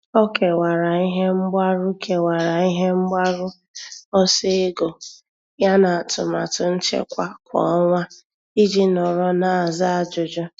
Ọ́ kèwàrà ihe mgbaru kèwàrà ihe mgbaru ọsọ ego ya n’átụ́màtụ nchekwa kwa ọnwa iji nọ́rọ́ n’ázá ájụ́jụ́.